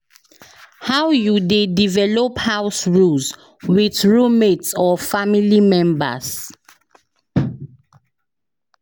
how you dey develop house rules with roommate or family members?